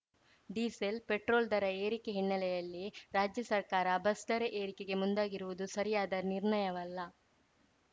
diesel petrol ದರ ಏರಿಕೆ ಹಿನ್ನೆಲೆಯಲ್ಲಿ ರಾಜ್ಯ ಸರ್ಕಾರ ಬಸ್‌ ದರ ಏರಿಕೆಗೆ ಮುಂದಾಗಿರುವುದು ಸರಿಯಾದ ನಿರ್ಣಯವಲ್ಲ